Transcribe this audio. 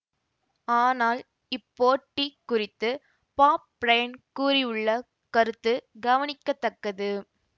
ஆனால் இப்போட்டி குறித்து பாப் பிரையன் கூறியுள்ள கருத்து கவனிக்க தக்கது